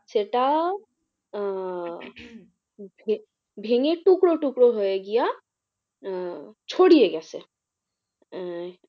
সেটা আহ ভেঙে টুকরো টুকরো হয়ে গিয়া আহ ছড়িয়ে গেছে। আহ